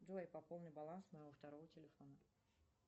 джой пополни баланс моего второго телефона